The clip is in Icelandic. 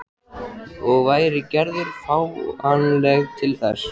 Og væri Gerður fáanleg til þess?